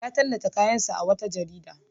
Ya tallata kayansa a wata jarida.